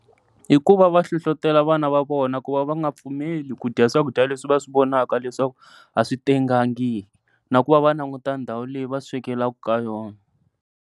Hikuva va hlohlotela vana va vona ku va va nga pfumeli kudya swakudya leswi va swi vonaka leswaku a swi tengangi, na ku va va languta na ndhawu leyi va swekelaka ka yona.